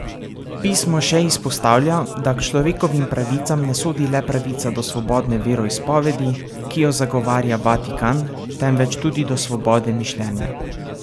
Pismo še izpostavlja, da k človekovim pravicam ne sodi le pravica do svobodne veroizpovedi, ki jo zagovarja Vatikan, temveč tudi do svobode mišljenja.